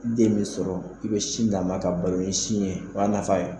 Ibe sin min sɔrɔ i bɛ si d'a ma ka balo ni sin ye o' nafa ye